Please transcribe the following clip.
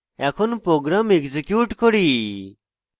এখন program execute করি